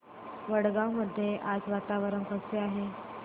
वडगाव मध्ये आज वातावरण कसे आहे